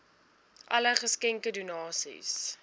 alle geskenke donasies